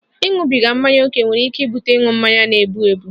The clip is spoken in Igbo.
Ịṅụbiga mmanya ókè nwere ike ibute ịṅụ mmanya na-egbu egbu